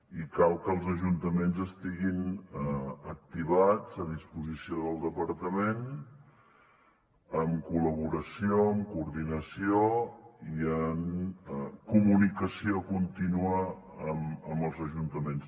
i cal que els ajuntaments estiguin activats a disposició del departament en col·laboració amb coordinació i en comunicació contínua amb els ajuntaments